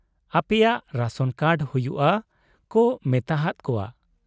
ᱟᱯᱼᱮᱭᱟᱜ ration card ᱦᱩᱭᱩᱜ ᱟ ᱠᱚ ᱢᱮᱛᱟᱦᱟᱫ ᱠᱚᱣᱟ ᱾